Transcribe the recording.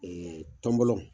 Ɛɛ tɔnbɔlɔ